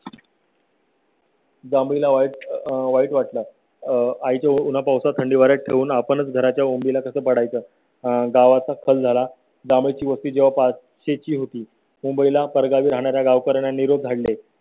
जांभळीला वाईट वाटलं आहे आईचं उन्हा पावसात थंडी वाऱ्यात ठेवून आपण घराच्या उंबऱ्या ला कसं पडाय चं? गावाचा कल झाला. बाळा ची वस्ती जेव्हा पाचशेची होती मुंबई ला परगावी राहणार्या गावकऱयांना. निरोप धाडले